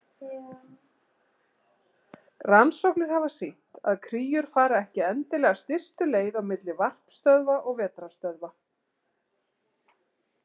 Rannsóknir hafa sýnt að kríur fara ekki endilega stystu leið á milli varpstöðva og vetrarstöðva.